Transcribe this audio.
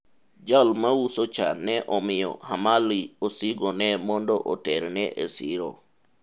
jal mauso cha ne omiyo Hamali osigo ne mondo oterne e siro